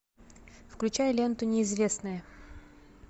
включай ленту неизвестная